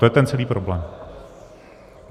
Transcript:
To je ten celý problém.